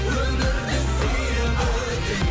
өмірді сүйіп өтем